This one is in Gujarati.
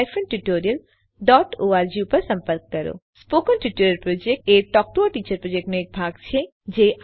સ્પોકન ટ્યુટોરિયલ પ્રોજેક્ટ એ ટોક ટુ અ ટીચર પ્રોજેક્ટનો એક ભાગ છે